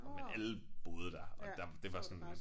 Og men alle boede der og der det var sådan